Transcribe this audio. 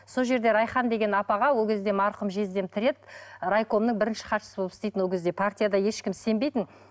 сол жерде райхан деген апаға ол кезде марқұм жездем тірі еді райкомның бірінші хатшысы болып істейтін ол кезде партияда ешқім сенбейтін